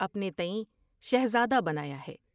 اپنے تہیں شہزادہ بنایا ہے ۔